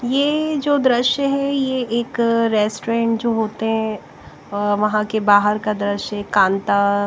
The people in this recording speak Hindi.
यह जो दृश्य है यह एक रेस्टोरेंट जो होते हैं वहां के बाहर का दृश्य कांता--